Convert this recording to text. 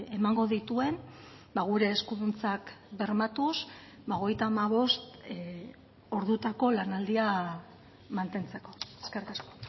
emango dituen gure eskuduntzak bermatuz hogeita hamabost ordutako lanaldia mantentzeko eskerrik asko